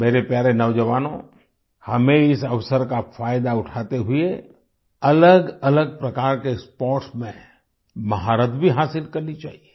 मेरे प्यारे नौजवानों हमें इस अवसर का फायदा उठाते हुए अलगअलग प्रकार के स्पोर्ट्स में महारत भी हासिल करनी चाहिए